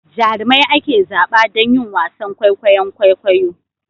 Jarumai ake zaba don yin wasan kwaikwayon kwaikwayo